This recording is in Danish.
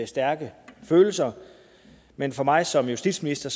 stærke følelser men for mig som justitsminister